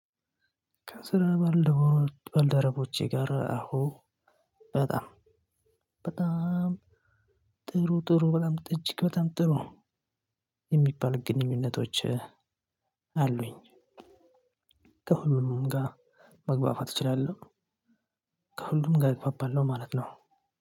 ከስራ ባልደረቦቼ ጋር አዎ በጣም በጣም ጥሩ ጥሩ እጅግ በጣም ጥሩ በጣም ጥሩ የሚባል ግንኙነቶች አሉኝ። ከሁሉም ጋር መግባባት እችላለሁ። ከሁሉም ጋር እግባባለው ነው ማለት ነው።